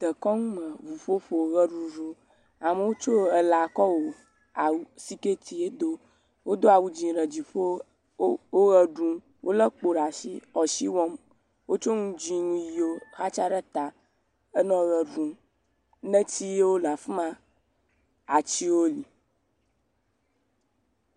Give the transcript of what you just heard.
Dekɔnu me ŋuƒoƒo, ʋeɖuɖu, amewo tsɔ elã kɔ wɔ awu..siketie wodo. Wodo awu dzɛ̃ ɖe dziƒo wole ʋe ɖum, wolé kpo ɖe asi le asi wɔm, wotsɔ nu dzɛ̃ nu ʋiwo xatsa ɖe ta enɔ ʋe ɖum netiwo le afi ma, atiwo li.